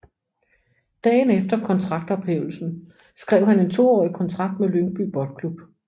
Dagen efter kontraktophævelsen skrev han en toårig kontrakt med Lyngby Boldklub